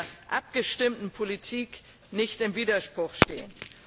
mit einer abgestimmten Politik, nicht im Widerspruch stehen.